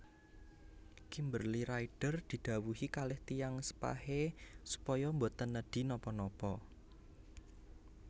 Kimberly Rider didhawuhi kalih tiyang sepahe supaya mboten nedhi napa napa